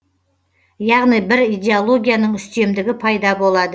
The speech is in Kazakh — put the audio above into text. яғни бір идеологияның үстемдігі пайда болады